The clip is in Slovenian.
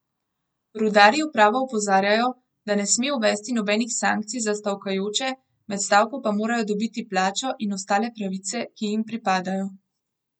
Rudarji upravo opozarjajo, da ne sme uvesti nobenih sankcij za stavkajoče, med stavko pa morajo dobiti plačo in ostale pravice, ki jim pripadajo.